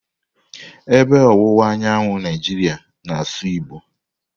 Ebe ọwụwa anyanwụ Naijiria na-asụ Igbo.